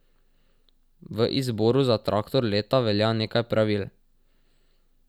V izboru za traktor leta velja nekaj pravil.